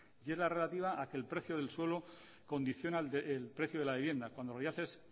y es la relativa a que el precio del suelo condiciona el precio de la vivienda cuando en realidad es